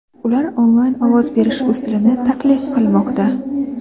Ular onlayn ovoz berish usulini taklif qilmoqda.